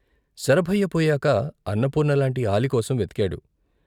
శరభయ్య పోయాక అన్నపూర్ణ లాంటి ఆలికోసం వెతికాడు.